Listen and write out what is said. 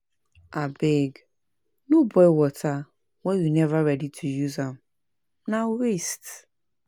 Abeg, no boil water wen you neva ready to use am, na waste.